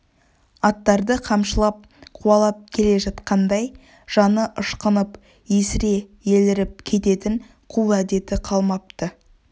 аттарды қамшылап қуалап келе жатқандай жаны ышқынып есіре еліріп кететін қу әдеті қалмапты